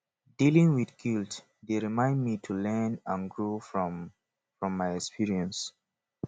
dealing with guilt dey remind me to learn and grow from from my experiences